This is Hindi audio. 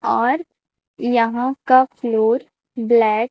और यहाॅं का फ्लोर ब्लैक --